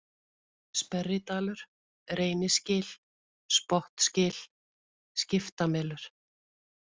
Sperridalur, Reynisgil, Spottsgil, Skiptamelur